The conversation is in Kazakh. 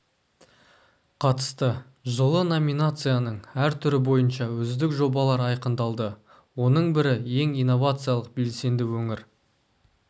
қатысты жылы номинацияның әр түрі бойынша үздік жобалар айқындалды оның бірі ең инновациялық белсенді өңір